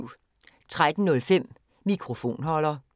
13:05: Mikrofonholder 14:05: Finnsk Terapi (G)